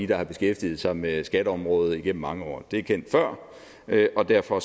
der har beskæftiget sig med skatteområdet igennem mange år det er kendt før og derfor